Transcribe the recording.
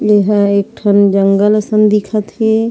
एहा एक ठन जंगल असन दिखत हे।